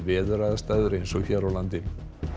veðuraðstæður eins og hér á landi